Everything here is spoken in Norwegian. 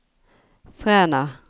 Fræna